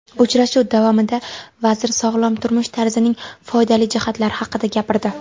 Uchrashuv davomida vazir sog‘lom turmush tarzining foydali jihatlari haqida gapirdi.